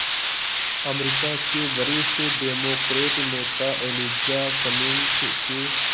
अमरीका के वरिष्ठ डेमोक्रेट नेता एलिजा कमिंग्स के